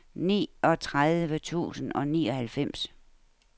niogtredive tusind og nioghalvfems